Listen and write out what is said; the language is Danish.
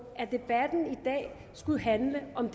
at debatten i dag skulle handle om